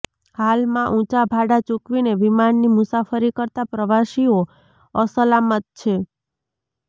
હાલમાં ઉંચા ભાડા ચૂકવીને વિમાનની મુસાફરી કરતા પ્રવાસીઓ અસલામત છે